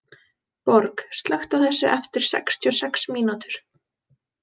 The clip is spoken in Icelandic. Borg, slökktu á þessu eftir sextíu og sex mínútur.